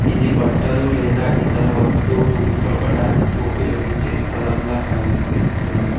ఇది బట్టలు లేదా ఇతర వస్తువులు ఉతకడానికి ఉపయోగించే స్థలంలా కనిపిస్తుంది.